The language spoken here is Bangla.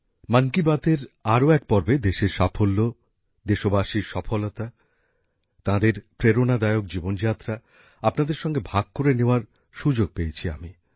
মন কি বাত এর আরও এক পর্বে দেশের সাফল্য দেশবাসীর সফলতা তাঁদের প্রেরণাদায়ক জীবনযাত্রা আপনাদের সঙ্গে ভাগ করে নেওয়ার সুযোগ পেয়েছি আমি